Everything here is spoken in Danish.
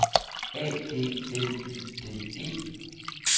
A D L Y D E